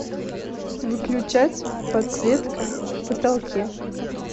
выключать подсветка в потолке